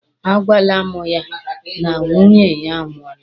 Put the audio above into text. A gwala mụ ya na nwunye ya a nwụọla.